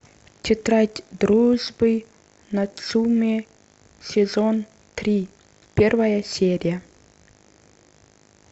тетрадь дружбы нацумэ сезон три первая серия